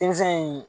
Denmisɛn in